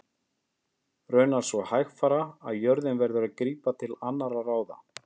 Raunar svo hægfara að jörðin verður að grípa til annarra ráða.